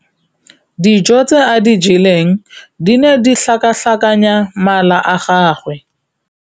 Dijô tse a di jeleng di ne di tlhakatlhakanya mala a gagwe.